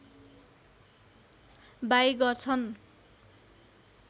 by गर्छन्